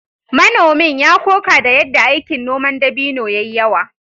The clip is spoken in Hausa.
Manomin ya koka da yadda aikin noman dabino ya yi yawa